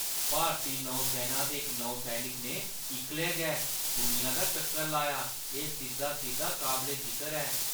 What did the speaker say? भारती नौसैना दे इक नौसैनिक ने इक्कलै गै दुनिया दा चक्कर लाया। एह् सिद्धा-सिद्धा काबले-जिकर ऐ!